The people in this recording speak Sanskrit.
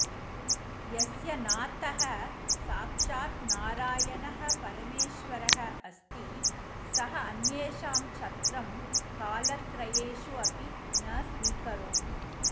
यस्य नाथः साक्षात् नारायणः परमेश्वरः अस्ति सः अन्येषां छत्रं कालत्रयेषु अपि न स्वीकरोति